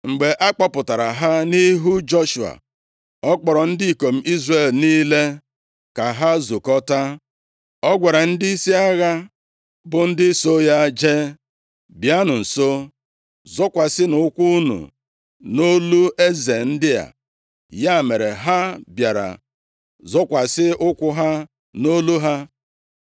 Mgbe a kpụtara ha nʼihu Joshua, ọ kpọrọ ndị ikom Izrel niile ka ha zụkọta, ọ gwara ndịisi agha bụ ndị so ya jee, “Bịanụ nso, zọkwasịnụ ụkwụ unu nʼolu eze ndị a.” Ya mere, ha bịara zọkwasị ụkwụ ha nʼolu ha.